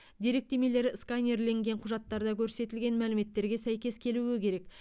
деректемелер сканерленген құжаттарда көрсетілген мәліметтерге сәйкес келуі керек